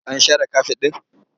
An share kafet ɗin?